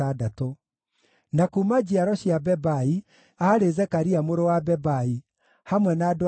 na kuuma njiaro cia Bebai, aarĩ Zekaria mũrũ wa Bebai, hamwe na andũ angĩ 28;